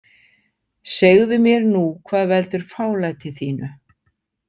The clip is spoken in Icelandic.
Segðu mér nú hvað veldur fálæti þínu.